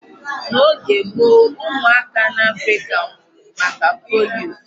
N'oge gboo, ụmụaka n'Africa nwụrụ maka polio.